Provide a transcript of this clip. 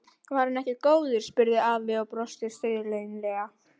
Var hann ekki góður? spurði afi og brosti stríðnislega.